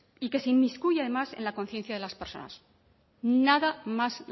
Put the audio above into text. y que se inmiscuye además en la conciencia de las personas nada más